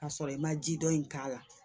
Ka sɔrɔ i ma ji dɔɔni k'a la